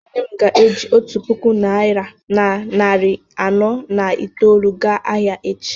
nne m ga-eji otu puku naira na narị anọ na itoolu gaa ahịa echi